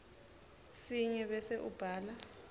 sinye bese ubhala